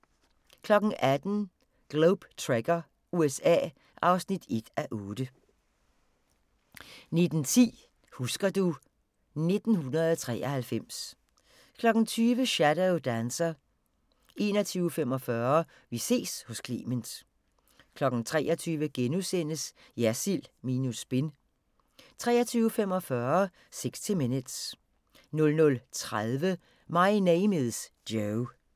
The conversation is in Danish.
18:00: Globe Trekker – USA (1:8) 19:10: Husker du ... 1993 20:00: Shadow Dancer 21:45: Vi ses hos Clement 23:00: Jersild minus spin * 23:45: 60 Minutes 00:30: My Name Is Joe